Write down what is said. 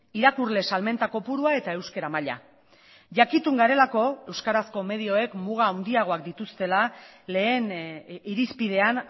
irakurle salmenta kopurua eta euskara maila jakitun garelako euskarazko medioek muga handiagoak dituztela lehen irizpidean